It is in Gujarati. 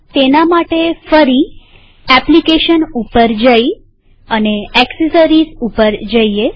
તેના માટે ફરી એપ્લીકેશન પર જઈ અને એક્સેસરીઝ પર જઈએ